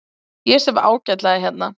Ég sef ágætlega hérna.